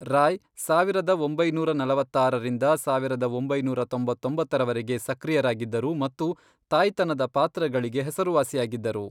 ರಾಯ್, ಸಾವಿರದ ಒಂಬೈನೂರ ನಲವತ್ತಾರರಿಂದ ಸಾವಿರದ ಒಂಬೈನೂರ ತೊಂಬತ್ತೊಂಬತ್ತರವರೆಗೆ ಸಕ್ರಿಯರಾಗಿದ್ದರು ಮತ್ತು ತಾಯ್ತನದ ಪಾತ್ರಗಳಿಗೆ ಹೆಸರುವಾಸಿಯಾಗಿದ್ದರು.